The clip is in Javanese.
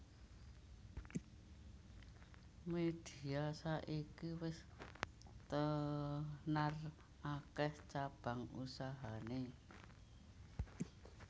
Media saiki wis tenar akeh cabang usahane